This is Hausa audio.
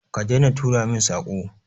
Ka daina turo min Sako.